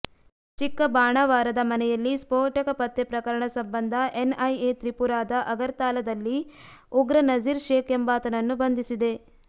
ಚಿಕ್ಕಬಾಣಾವರದ ಮನೆಯಲ್ಲಿ ಸ್ಫೋಟಕ ಪತ್ತೆ ಪ್ರಕರಣ ಸಂಬಂಧ ಎನ್ಐಎ ತ್ರಿಪುರಾದ ಅಗರ್ತಲಾದಲ್ಲಿ ಉಗ್ರ ನಜೀರ್ ಶೇಖ್ ಎಂಬಾತನನ್ನು ಬಂಧಿಸಿದೆ